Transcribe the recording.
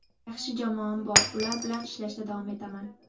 Yaxshi jamoam bor, ular bilan ishlashda davom etaman.